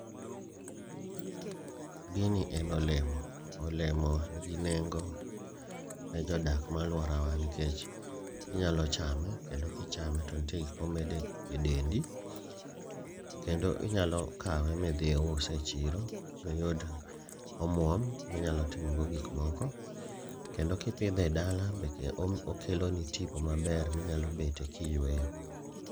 Gini en olemo, olemo nigi nengo ne jodak malworawa nikech inyalo chame kendo kichame to nitie gik momedo e dendi. Kendo inyalo kawe midhi iuse e chiro miyud omuom minyalo timogo gik moko. Kendo kipidhe e dala bende okeloni tipo maber minyalo bete kiyweyo.